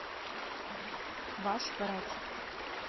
ваш врач